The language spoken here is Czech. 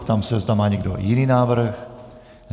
Ptám se, zda má někdo jiný návrh.